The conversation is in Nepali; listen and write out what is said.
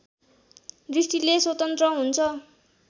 दृष्टिले स्वतन्त्र हुन्छ